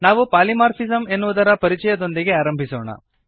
ನಾವು ಪಾಲಿಮಾರ್ಫಿಸಮ್ ಎನ್ನುವುದರ ಪರಿಚಯದೊಂದಿಗೆ ಆರಂಭಿಸೋಣ